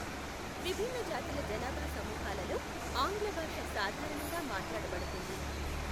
విభిన్న జాతుల జనాభా సమూహాలలో ఆంగ్ల భాష సాధారణంగా మాట్లాడబడుతుంది.